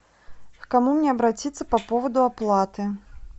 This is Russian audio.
к кому мне обратиться по поводу оплаты